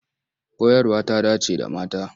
Koyarwa ta dance da mata.